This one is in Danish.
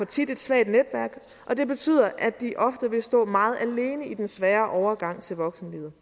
tit et svagt netværk og det betyder at de ofte vil stå meget alene i den svære overgang til voksenlivet